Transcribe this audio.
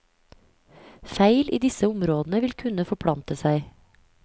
Feil i disse områdene vil kunne forplante seg.